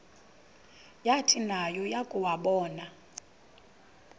yathi nayo yakuwabona